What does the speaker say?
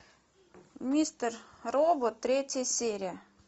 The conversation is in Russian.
мистер робот третья серия